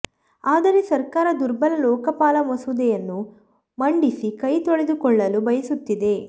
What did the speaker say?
ಆದರೆ ಸರ್ಕಾರ ದುರ್ಬಲ ಲೋಕಪಾಲ ಮಸೂದೆಯನ್ನು ಮಂಡಿಸಿ ಕೈ ತೊಳೆದುಕೊಳ್ಳಲು ಬಯಸುತ್ತಿದೆ